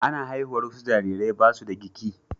Ana haihuwar wasu jarirai ba su da giki.